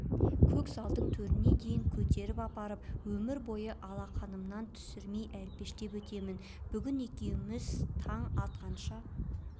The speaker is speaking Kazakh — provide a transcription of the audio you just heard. көк залдың төріне дейін көтеріп апарам өмір бойы алақанымнан түсірмей әлпештеп өтемін бүгін екеуміз таң атқанша